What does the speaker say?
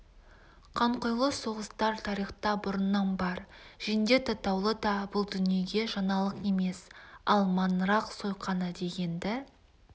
қанқұйлы соғыстар тарихта бұрыннан бар жендет атаулы да бұл дүниеге жаңалық емес ал маңырақ сойқаны дегенді